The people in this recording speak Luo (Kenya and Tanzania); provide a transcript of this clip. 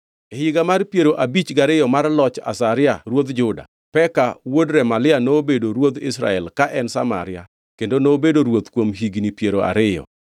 E higa mar piero abich gariyo mar loch Azaria ruodh Juda, Peka wuod Remalia nobedo ruodh Israel ka en Samaria, kendo nobedo ruoth kuom higni piero ariyo.